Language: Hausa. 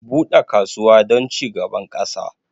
Bude kasuwa don cigaban ƙasa